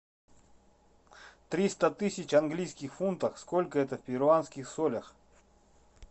триста тысяч английских фунтов сколько это в перуанских солях